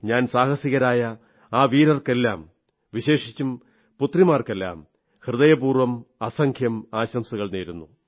ഞാൻ സാഹസികളായ ആ വീരർക്കെല്ലാം വിശേഷിച്ചും പുത്രിമാർക്കെല്ലാം ഹൃദയപൂർവ്വം അസംഖ്യം ആശംസകൾ നേരുന്നു